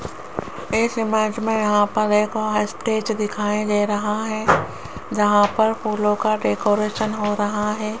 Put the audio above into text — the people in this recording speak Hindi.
इस इमेज में यहां पर एक स्टेज दिखाई दे रहा है जहां पर फूलों का डेकोरेशन हो रहा है।